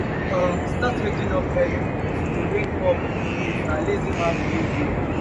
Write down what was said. um start with waking up early to de wake up late na lazy man behavior